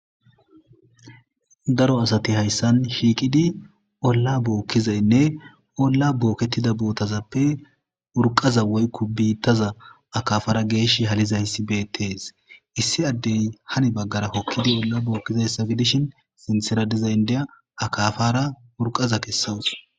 Daro asati hayssan shiiqidi olla bookkizaynne olla bookettida bootazappe urqaza woykko biittaza akafara geesh haliza hissibeetees issi addey hani baggara hokkidi olla bookkizay ssabidishin sintera dizayndeya akafara urqaza kessawus.